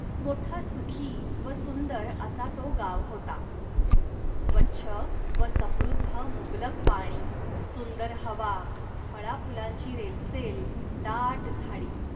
मोठा सुखी व सुंदर असा तो गाव होता. स्वच्छ व समृद्ध मुबलक पाणी, सुंदर हवा, फळाफुलांची रेलचेल, दाट झाडी